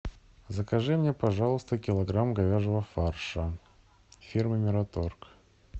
закажи мне пожалуйста килограмм говяжьего фарша фирмы мираторг